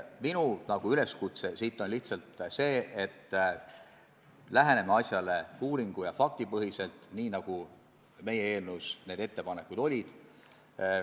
Minu üleskutse on lihtsalt see, et läheneme probleemile uuringu- ja faktipõhiselt, nii nagu meie eelnõus need ettepanekud olid.